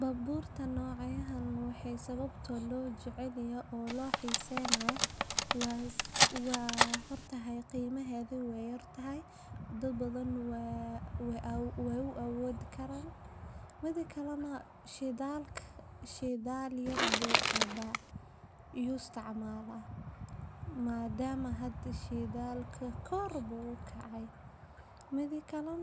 Baabuurta noocyahaan waxaa loo jecel yahay sababo dhowr ah oo la xiriira waxqabadkooda, raaxadooda, iyo muuqaalka casriga ah ee ay leeyihiin. Dadka qaar waxay doorbidaan baabuurta yar yar sababtoo ah waa dhaqaale ku habboon, shidaal kaydsan, waxaana lagu wadaa si fudud magaalooyinka ciriiriga ah. Kuwo kale waxay jecel yihiin baabuurta waaweyn sida yada ama yada sababtoo ah waxay leeyihiin awood sare, badbaado fiican, waxayna ku habboon yihiin safarrada dheer iyo dhulka aan laami ahayn. Sidoo kale, baabuurta cusub